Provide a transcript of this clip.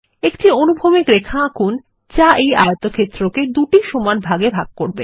একটি অনুভূমিক রেখা আঁকুন যা এই আয়তক্ষেত্র কে দুটি সমান ভাগে ভাগ করবে